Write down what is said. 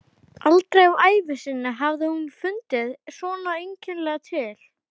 Aldrei á ævi sinni hafði hún fundið svona einkennilega til.